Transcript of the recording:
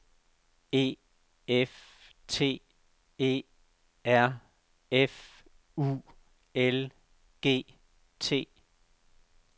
E F T E R F U L G T